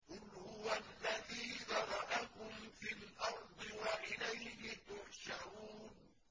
قُلْ هُوَ الَّذِي ذَرَأَكُمْ فِي الْأَرْضِ وَإِلَيْهِ تُحْشَرُونَ